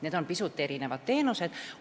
Need on pisut erinevad teenused.